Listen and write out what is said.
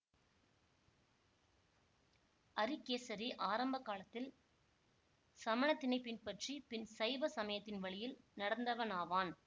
அரிகேசரி ஆரம்ப காலத்தில் சமணத்தினைப் பின்பற்றி பின் சைவ சமயத்தின் வழியில் நடந்தவனாவான்